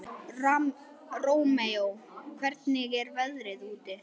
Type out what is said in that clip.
Rómeó, hvernig er veðrið úti?